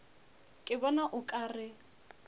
ke bona o ka re